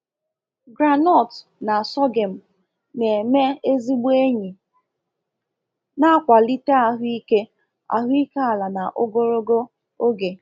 Groundnut na sorghum na-eme ezigbo enyi na-akwalite ahụike ahụike ala na ogologo oge.